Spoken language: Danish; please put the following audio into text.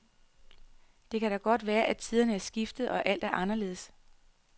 Det kan da godt være, at tiderne er skiftet og alt er anderledes.